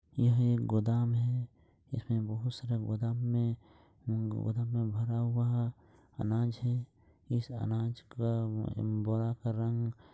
यह एक गोदाम है इसमें बहुत सारा गोदाम में गोदाम में भरा हुआ अनाज है इस अनाज का अम बोरा का रंग--